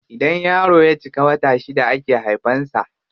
Idan yaro ya cika wata shida ake haifan sa.